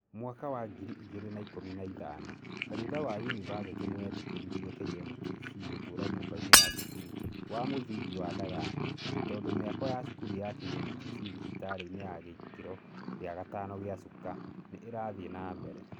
Mwaka wa ngiri igĩrĩ na ikũmi na ithano, kanitha wa university nĩ wetĩkĩririe KMTC gũtũũra nyũmbainĩ ya cukuru wa m ũtingi wa Ndagani, tondũ mĩako ya cukuru ya KMTC thibitarĩ-inĩ ya gĩkĩro gĩa gatano ya Chuka nĩ ĩrathiĩ na mbere.